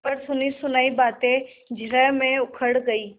पर सुनीसुनायी बातें जिरह में उखड़ गयीं